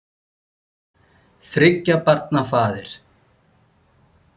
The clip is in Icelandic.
Þriggja barna faðir.